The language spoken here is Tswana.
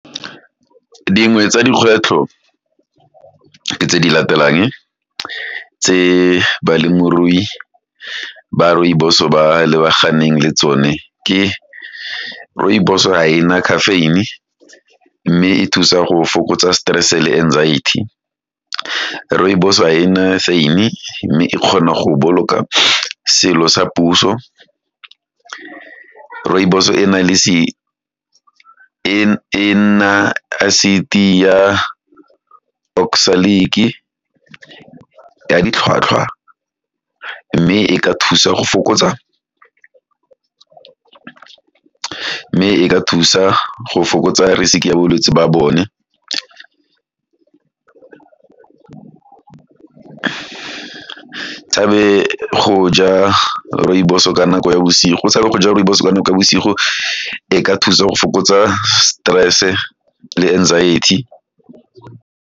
Dingwe tsa dikgwetlho ke tse di latelang, tse balemirui ba rooibos-o ba lebaganeng le tsone, ke rooibos ga ena caffeine-e, mme e thusa go fokotsa stress, le anxiety, rooibos ga ena asyn-e, mme e kgona go boloka selo sa puso, rooibos e nna acid e ya oxalic ya ditlhwatlhwa mme e ka thusa go fokotsa risk ya bolwetsi ba bone, ke tshabe go ja rooibos ka nako ya bosigo e ka thusa go fokotsa stress-e le anxiety.